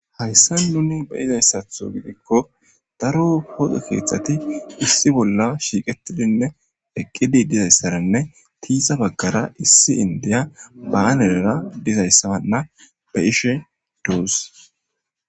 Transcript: Hayissan nuni beyizayissaththo gidikko daro poqe keththat issi bolla shiqetidinne eqetidi dizayssaranne tiixa baggara issi indiya banera dizayissana beyishshe dos